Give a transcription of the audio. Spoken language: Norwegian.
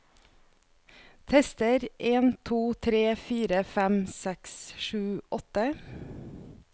Tester en to tre fire fem seks sju åtte